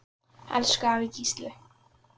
Elsku afi Gísli.